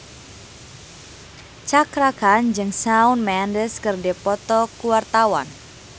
Cakra Khan jeung Shawn Mendes keur dipoto ku wartawan